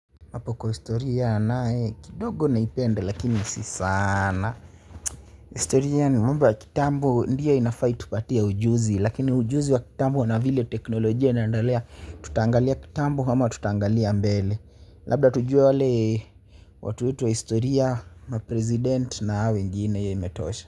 Hapo kwa historia nae, kidogo naipenda lakini si sana. Historia ni mamba kitambo ndio inafai itupatia ujuzi. Lakini ujuzi wa kitambo na vile teknolojia inaendelea, tutaangalia kitambo, ama tutaangalia mbele. Labda tujue wale, watu wetu wa historia, ma president na hao wengine hiyo imetosha.